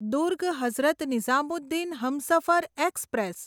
Durg Hazrat Nizamuddin Humsafar express